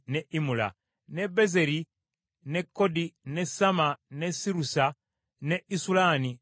ne Bezeri, ne Kodi, ne Samma, ne Sirusa, ne Isulani ne Beera.